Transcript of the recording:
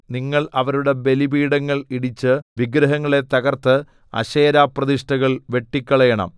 നിങ്ങൾ അവരുടെ ബലിപീഠങ്ങൾ ഇടിച്ച് വിഗ്രഹങ്ങളെ തകർത്ത് അശേരാപ്രതിഷ്ഠകൾ വെട്ടിക്കളയണം